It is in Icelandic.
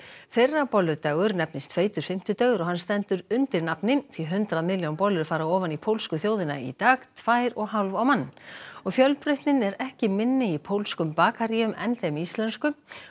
þeirra bolludagur nefnist feitur fimmtudagur og hann stendur undir nafni því hundrað milljón bollur fara ofan í pólsku þjóðina í dag tvær og hálf á mann og fjölbreytnin er ekki minni í pólskum bakaríum en þeim íslensku